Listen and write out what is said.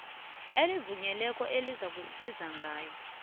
elivunyiweko ozakusizwa ngalo